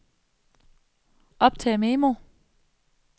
optag memo